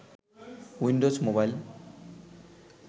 Windows mobile